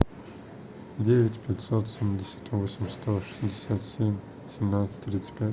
девять пятьсот семьдесят восемь сто шестьдесят семь семнадцать тридцать пять